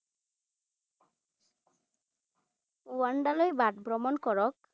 ৱানাদলৈ বাট ভ্ৰমণ কৰক।